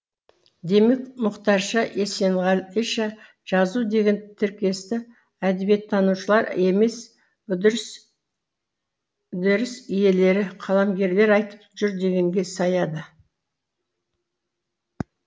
демек мұқтарша есенғалиша жазу деген тіркесті әдебиеттанушылар емес үдеріс иелері қаламгерлер айтып жүр дегенге саяды